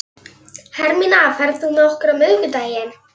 Hermína, ferð þú með okkur á miðvikudaginn?